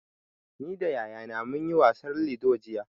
Ni da yayana mun yi wasar lido jiya.